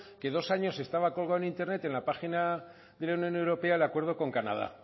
que en dos años estaba colgado en internet en la página de la unión europea el acuerdo con canadá